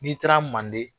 N'i taara manden